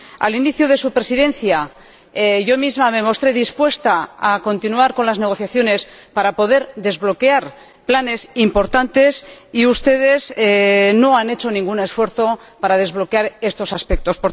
Al inicio de su Presidencia, yo misma me mostré dispuesta a continuar con las negociaciones para poder desbloquear planes importantes y ustedes no han hecho ningún esfuerzo para desbloquear estos aspectos.